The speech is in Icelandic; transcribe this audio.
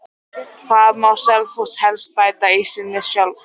Hvað má Selfoss helst bæta í sinni þjálfun?